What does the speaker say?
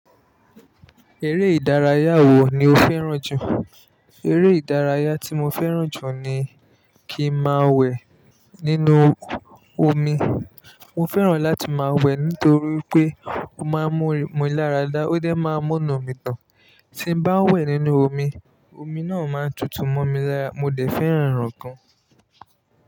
Eré ìdárayá wo ni o fẹràn jù? Eré ìdárayá tí mo fẹràn jù ni kí n máa wẹ̀ nínú omi. Mo fẹràn láti máa wẹ̀ nítorí pé ó máa ń mú mi láradá, ó dẹ máa ń múnu mi dùn. Tí bá wẹ̀ nínú omi, omi náà máa tutù mọ́ mi lára, mo dẹ̀ fẹ́ràn ràn gan.